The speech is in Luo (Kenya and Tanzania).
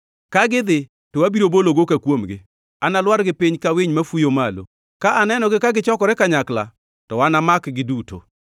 Ka gidhi, to abiro bolo goka kuomgi; analwargi piny ka winy mafuyo malo. Ka anenogi ka gichokore kanyakla, to anamakgi duto.